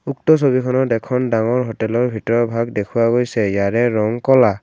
উক্ত ছবিখনত এখন ডাঙৰ হোটেলৰ ভিতৰৰ ভাগ দেখুওৱা গৈছে ইয়াৰে ৰং ক'লা।